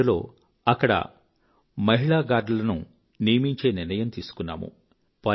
2007 లో అక్కడి మహిళా గార్డ్లను నియమించే నిర్ణయం తీసుకున్నాము